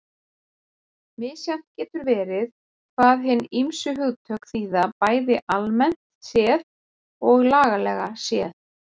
Misjafnt getur verið hvað hin ýmsu hugtök þýða bæði almennt séð og lagalega séð.